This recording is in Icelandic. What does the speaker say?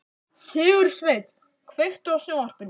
Sigursveinn, kveiktu á sjónvarpinu.